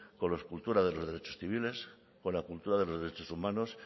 con la cultura de los derechos civiles con la cultura de los derechos humanos